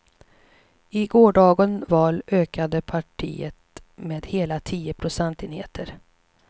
I gårdagen val ökade partiet med hela tio procentenheter.